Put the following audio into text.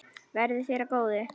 Verði þér að góðu.